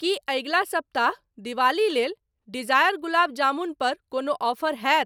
की अगिला सप्ताह दिवाली लेल डिजायर गुलाब जामुन पर कोनो ऑफर हैत?